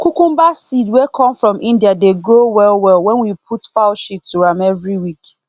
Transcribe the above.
cucumber seed wey come from india dey grow well well when we put fowl sheat to am every week